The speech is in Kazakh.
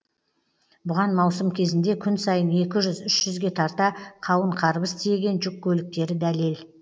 бұған маусым кезінде күн сайын екі жүз үш жүзге тарта қауын қарбыз тиеген жүк көліктері дәлел